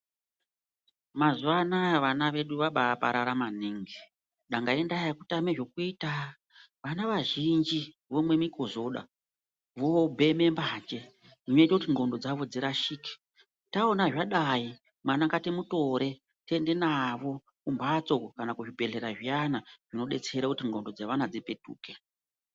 Mazuvanaya vana vedu vabaparara maningi danga indaa yekutama zvekuita vana vazhinji vomwa mikozoda vobheme mbanje zvinoita kuti ndxondo dzavo dzirashike taona zvadai vana ngativatore tiende navo kumbatso kana kuzvibhedhlera zviyana zvinoita kuti ndxondo dzevana dzipetuke.